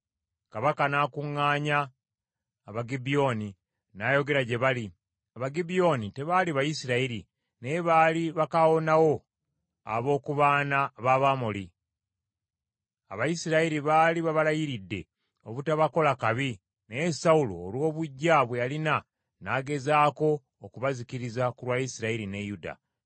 Kabaka n’akuŋŋaanya Abagibyoni n’ayogera gye bali. (Abagibyoni tebaali Bayisirayiri naye baali bakaawonawo ab’oku baana b’Abamoli. Abayisirayiri baali babalayiridde obutabakola kabi, naye Sawulo olw’obuggya bwe yalina n’agezaako okubazikiriza ku lwa Isirayiri ne Yuda.)